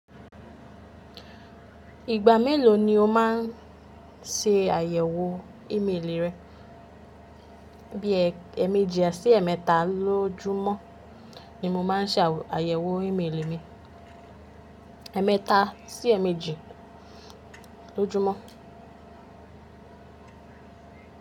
Ìgbà mélòó ni o má ń ṣe àyẹ̀wò ímélì rẹ? Bí i ẹ̀méjì sí ẹ̀mẹ́ta lójúmọ́ ni mo má ń ṣe àyẹ̀wò ímélì mi. Ẹ̀ẹ́mẹ́ta sí ẹ̀méjì lójúmọ́.